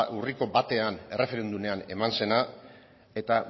urriko batean erreferendumean eman zena eta